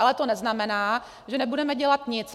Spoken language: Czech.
Ale to neznamená, že nebudeme dělat nic.